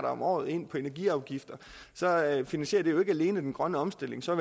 om året ind på energiafgifter finansierer det jo ikke alene den grønne omstilling så